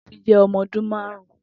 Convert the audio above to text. Tobi jẹ ọmọ ọdun màárùn